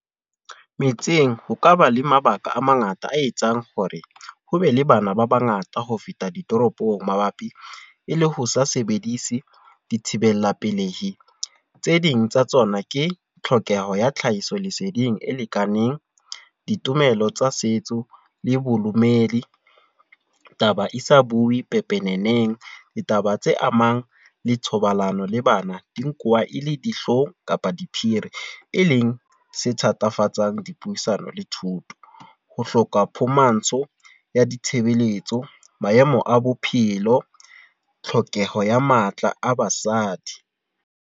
Metseng, ho kaba le mabaka a mangata a etsang hore, ho be le bana ba bangata ho feta ditoropong. Mabapi, e le ho sa sebedise di thibela pelehi. Tse ding tsa tsona ke tlhokeho ya tlhahiso leseding e lekaneng, ditumelo tsa setso le bodumedi. Taba e sa bue pepeneneng. Ditaba tse amang le thobalano le bana di e le dihlong kapa diphiri. E leng e thatafatsang dipuisano le thuto. Ho hloka phumantsho ya ditshebeletso. Maemo a bophelo, tlhokeho ya matla a basadi.